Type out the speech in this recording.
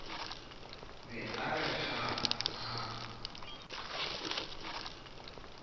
be a re haa a